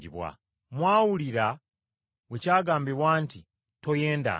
“Mwawulira bwe kyagambibwa nti, ‘Toyendanga!’